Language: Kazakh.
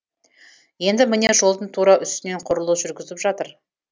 енді міне жолдың тура үстінен құрылыс жүргізіп жатыр